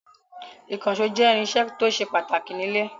Ìkànṣó jẹ́ irinṣẹ́ tó ṣe pàtàkì nílé.